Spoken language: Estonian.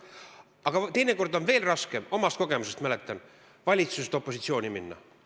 Aga teinekord on veel raskem, omast kogemusest mäletan, valitsusest opositsiooni minna.